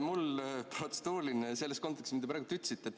Mul on protseduuriline selles kontekstis, mida te praegu ütlesite.